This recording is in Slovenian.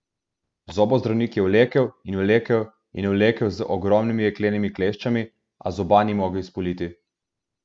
Zobozdravnik je vlekel in vlekel in vlekel z ogromnimi jeklenimi kleščami, a zoba ni mogel izpuliti.